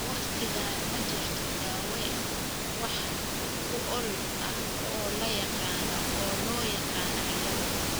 Waqtigaan, ma jirto daaweyn wax ku ool ah oo la yaqaan oo loo yaqaan ciilada.